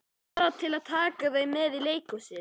Bara til að taka þau með í leikhúsið.